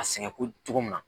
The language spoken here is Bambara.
A sɛgɛnko cogo min na.